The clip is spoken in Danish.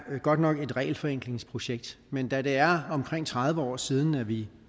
godt nok et regelforenklingsprojekt men da det er omkring tredive år siden at vi